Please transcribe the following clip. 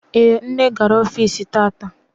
Ee, nne gara ọfici tata.